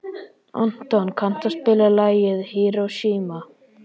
Anton, kanntu að spila lagið „Hiroshima“?